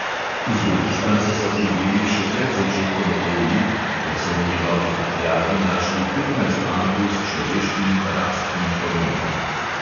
Uzbekistanca so prijeli še pred začetkom OI, ker so v njegovi prtljagi našli petnajst ampul s človeškim rastnim hormonom.